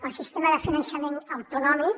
el sistema de finançament autonòmic